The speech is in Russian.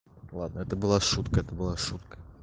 ладно это была шутка это была шутка